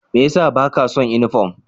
Mai ya sa ba ka son sa uniform?